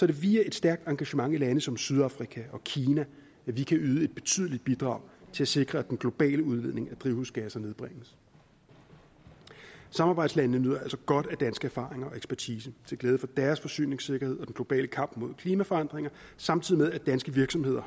det via et stærkt engagement i lande som sydafrika og kina at vi kan yde et betydeligt bidrag til at sikre at den globale udledning af drivhusgasser nedbringes samarbejdslandene nyder altså godt af danske erfaringer og dansk ekspertise til glæde for deres forsyningssikkerhed og den globale kamp mod klimaforandringer samtidig med at danske virksomheder